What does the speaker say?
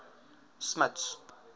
smuts